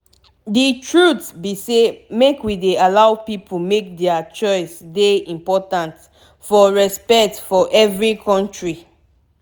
d truth be say make we dey allow pipu make dier choice dey important for respect for every kontri